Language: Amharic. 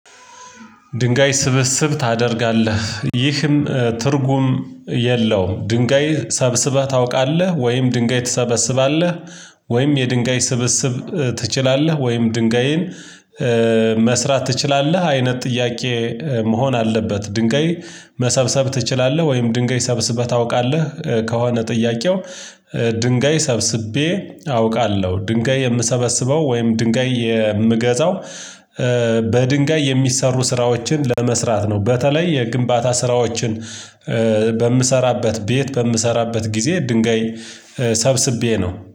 ድንጋይ ስብስብ ታደርጋለህ ይህም ትርጉም የለውም? ድንጋይ ሰብስበህ ታውቃለህ ወይም ድንጋይ ትሰበስባለህ? ወይም የድንጋይ ስብስብ ትችላለህ? ወይም ድንጋይን መስራት ትችላለህ አይነት ጥያቄ መሆን አለበት? ድንጋይ መሰብሰብ ትችላለህ ወይም ድንጋይ ሰብስበህ ታውቃለህ? ከሆነ ጥያቄው ድንጋይ ሰብስቤ አውቃለሁ ድንጋይ የምሰበስበው ወይም ድንጋይ የምገዛው በድንጋይ የሚሰሩ ስራዎችን ለመስራት ነው። በተለይ የግንባታ ስራዎችን በምሰራበት ቤት በምሰራበት ጊዜ ድንጋይ ሰብስቤ ነው